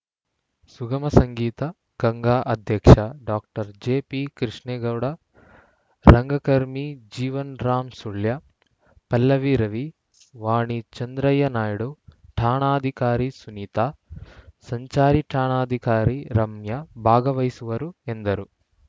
ಸುಗಮ ಸಂಗೀತ ಗಂಗಾ ಅಧ್ಯಕ್ಷ ಡಾಕ್ಟರ್ ಜೆಪಿ ಕೃಷ್ಣೇಗೌಡ ರಂಗಕರ್ಮಿ ಜೀವನ್‌ರಾಮ್‌ ಸುಳ್ಯ ಪಲ್ಲವಿ ರವಿ ವಾಣಿ ಚಂದ್ರಯ್ಯ ನಾಯ್ಡು ಠಾಣಾಧಿಕಾರಿ ಸುನೀತಾ ಸಂಚಾರಿ ಠಾಣಾಧಿಕಾರಿ ರಮ್ಯ ಭಾಗವಹಿಸುವರು ಎಂದರು